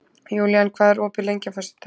Júlían, hvað er opið lengi á föstudaginn?